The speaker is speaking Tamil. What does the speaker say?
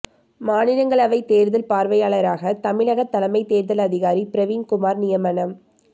மாநிலங்களவை தேர்தல் பார்வையாளராக தமிழக தலைமைத் தேர்தல் அதிகாரி பிரவீண் குமார் நியமனம்